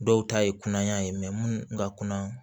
Dɔw ta ye kunaya ye munnu ka kuna